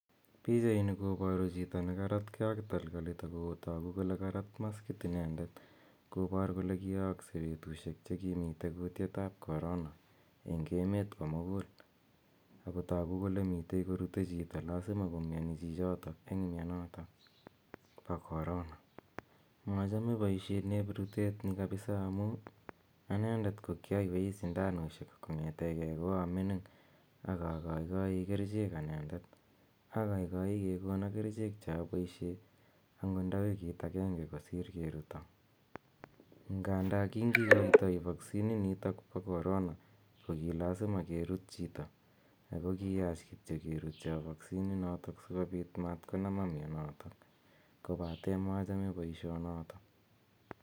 Pichaini koboru chito ne karatkei ak takalkalit ako toku kole karat maskit inendet kobor kole kiyokse betusiek che kimite kutietab corona eng emet komugul, ako toku kole mitei ko rute chito lazima komioni chichoto eng mionoto bo corona. Mochome boisioneb rutet ni kabisa amu anendet ko kyoiwei sinandusiek kongetekei ko kio mining ak akaikai kerichek anendet, akaikai kekono kerichek che aboisie angot nda wikit akenge kosir keruto , nganda kingikoitoi vaccine initok bo corona ko ki lazima kerut chito, ako kiyach kityo kerutyo vaccine inoto si kobit mat konama mionoto, kobate machame boisionoto.